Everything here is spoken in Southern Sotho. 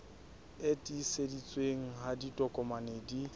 e tiiseditsweng ha ditokomane di